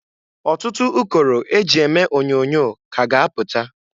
Ọtụtụ ụkọrọ e ji eme onyoonyo ka a ga-apụta.